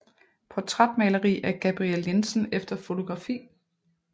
Portrætmaleri af Gabriel Jensen efter fotografi